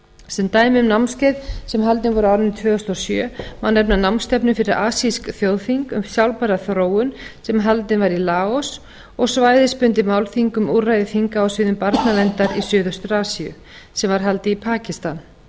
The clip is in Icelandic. sem dæmi um námskeið sem haldin voru á árinu tvö þúsund og sjö má nefna námstefnu fyrir asísk þjóðþing um sjálfbæra þróun sem haldin var í laos og svæðisbundin málþing um úrræði þinga á sviðum barnaverndar í suðaustur asíu sem var haldið í